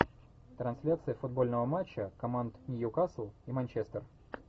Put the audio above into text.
трансляция футбольного матча команд ньюкасл и манчестер